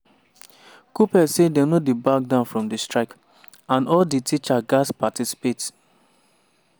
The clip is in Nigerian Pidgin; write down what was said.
kuppet say dem no dey back down from di strike and all di teachers gatz participate.